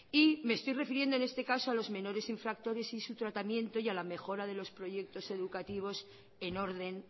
me estoy refiriendo en este caso a los menores infractores y su tratamiento y a la mejora de los proyectos educativos en orden